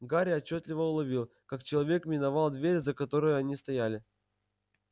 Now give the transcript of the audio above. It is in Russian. гарри отчётливо уловил как человек миновал дверь за которой они стояли